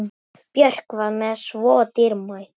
Björk var mér svo dýrmæt.